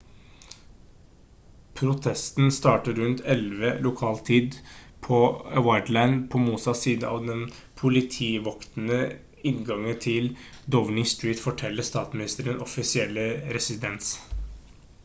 protesten startet rundt 11:00 lokal tid utc +1 på whitehall på motsatt side av den politivoktede inngangen til downing street forteller statsministerens offisielle residens